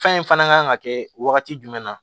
Fɛn in fana kan ka kɛ wagati jumɛn na